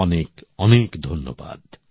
অনেক অনেক ধন্যবাদ